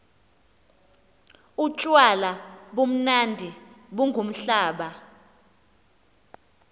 utywala bumnandi bungumblaba